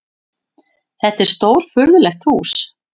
Þetta var stórfurðulegt hús.